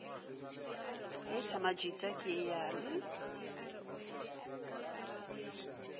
heita majita ke a le